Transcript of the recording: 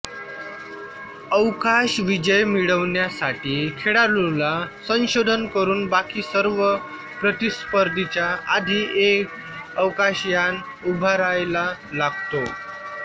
अवकाश विजय मिळवण्यासाठी खेळाडूला संशोधन करून बाकी सर्व प्रतिस्पर्धींच्या आधी एक अवकाशयान उभारायला लागतो